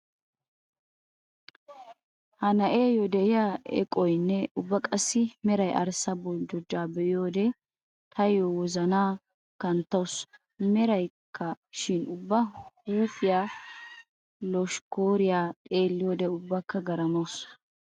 Ha na'eeyo de'iyaa eqqoynne ubba qassi meraa arssaa boljjojjaa be'iyoode taayo wozanaa kanttawusu. Meraykka shin ubba huuphiyaa loshkkaariyaa xeelliyoode ubbakka garmmaamawusu.